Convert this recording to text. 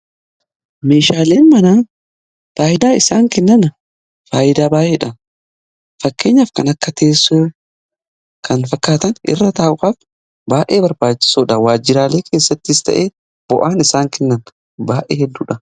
Meeshaaleen manaa faayidaa isaan kennan faayidaa baay'eedha. Fakkeenyaf kan akka teessoo kan fakkaatan irra taa'uf baay'ee barbaachisoodha. waajjiraalee keessattis ta'ee bu'aan isaan kennan baay'ee hedduudha.